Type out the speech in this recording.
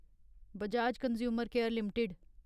Bajaj consumer care limited